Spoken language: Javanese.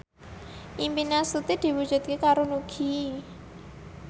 impine Astuti diwujudke karo Nugie